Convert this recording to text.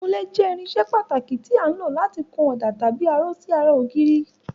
Ìkunlé jẹ́ irinṣẹ́ pàtàkì tí à ń lò láti kun ọ̀dà tàbí aró sí ara ògiri.